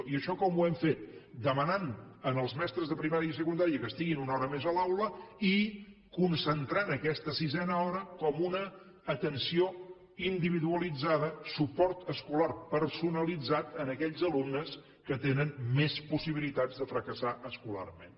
i això com ho hem fet demanant als mestres de primària i secundària que estiguin una hora més a l’aula i concentrant aquesta sisena hora com una atenció individualitzada suport escolar personalitzat a aquells alumnes que tenen més possibilitats de fracassar escolarment